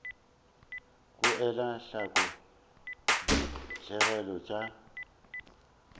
go ela hloko ditigelo tša